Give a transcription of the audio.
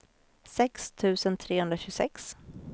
sex tusen trehundratjugosex